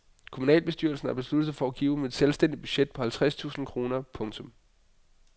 Kommunalbestyrelsen har besluttet at give dem et selvstændigt budget på halvtreds tusind kroner. punktum